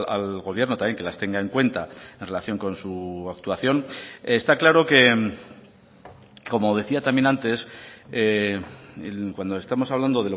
al gobierno también que las tenga en cuenta en relación con su actuación está claro que como decía también antes cuando estamos hablando